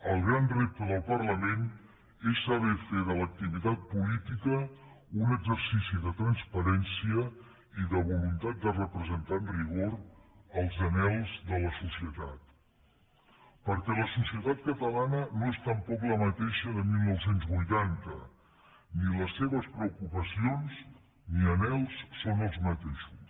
el gran repte del parlament és saber fer de l’activitat política un exercici de transparència i de voluntat de representar amb rigor els anhels de la societat perquè la societat catalana no és tampoc la mateixa de dinou vuitanta ni les seves preocupacions ni els seus anhels són els mateixos